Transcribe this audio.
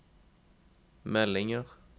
meldinger